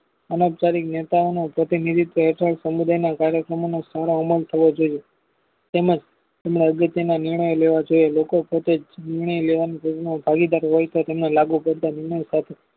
અનૌપચારિક નેતાઓનો પ્રતિનિધિત્વ હેઠળ સમુદાયના કાર્યક્રમોનો સારા અમલ થવો જોઈએ તેમજ તેને અગત્યના નિર્ણયો લેવા જોઈએ લોકો પોતે નિણઁય લેવામાં ભાગીદાર હોય છે તેમને લાગુપડતા નિણઁય સાથે